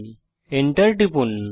Enter টিপুন